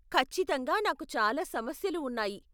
ఖచ్చితంగా నాకు చాలా సమస్యలు ఉన్నాయి.